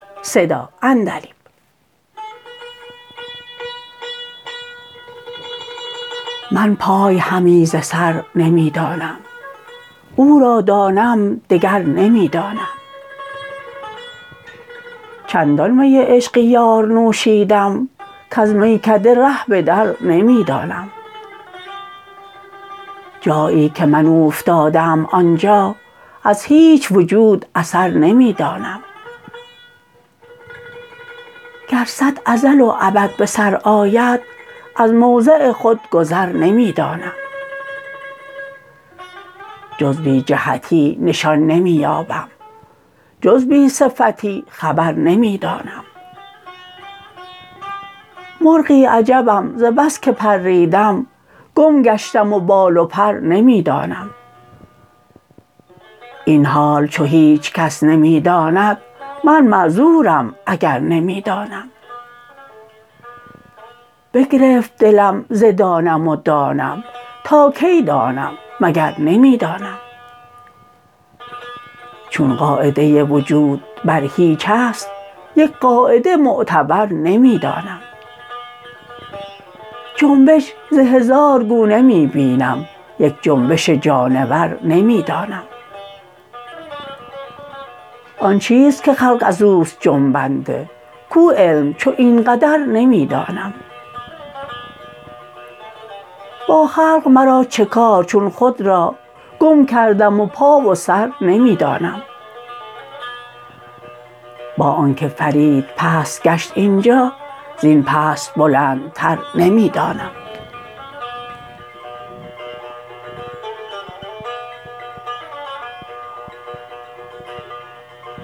من پای همی ز سر نمی دانم او را دانم دگر نمی دانم چندان می عشق یار نوشیدم کز میکده ره بدر نمی دانم جایی که من اوفتاده ام آنجا از هیچ وجود اثر نمی دانم گر صد ازل و ابد به سر آید از موضع خود گذر نمی دانم جز بی جهتی نشان نمی یابم جز بی صفتی خبر نمی دانم مرغی عجبم زبس که پریدم گم گشتم و بال و پر نمی دانم این حال چو هیچکس نمی داند من معذورم اگر نمی دانم بگرفت دلم ز دانم و دانم تا کی دانم مگر نمی دانم چون قاعده وجود بر هیچ است یک قاعده معتبر نمی دانم جنبش ز هزار گونه می بینم یک جنبش جانور نمی دانم آن چیست که خلق ازوست جنبنده کو علم چو این قدر نمی دانم با خلق مرا چکار چون خود را گم کردم و پا و سر نمی دانم با آنکه فرید پست گشت این جا زین پست بلندتر نمی دانم